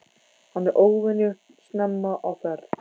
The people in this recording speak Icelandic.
Hann er óvenju snemma á ferð.